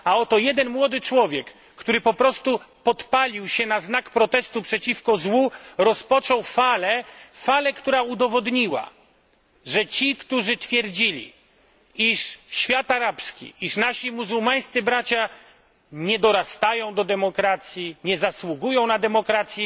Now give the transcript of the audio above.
A oto jeden młody człowiek, który po prostu podpalił się na znak protestu przeciwko złu, rozpoczął falę, która udowodniła, że ci, którzy twierdzili, iż świat arabski, iż nasi muzułmańscy bracia nie dorastają do demokracji, nie zasługują na demokrację,